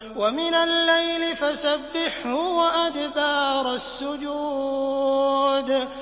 وَمِنَ اللَّيْلِ فَسَبِّحْهُ وَأَدْبَارَ السُّجُودِ